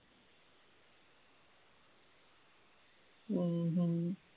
உம் உம்